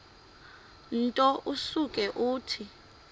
nto usuke uthi